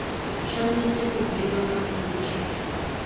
tshwanetse go bewa ka polokego